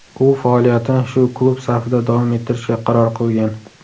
U faoliyatini shu klub safida davom ettirishga qaror qilgan.